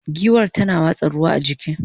giwar tana watsa ruwa a jiki